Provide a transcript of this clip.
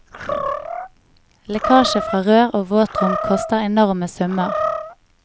Lekkasje fra rør og våtrom koster enorme summer.